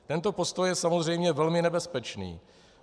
Tento postoj je samozřejmě velmi nebezpečný.